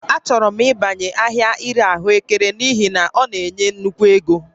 Achọrọ m ịbanye ahịa ịre ahụekere n'ihi na ọ na-enye nnukwu ego